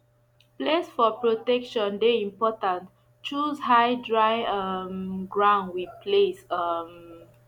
place for protection de important choose high dry um ground with place um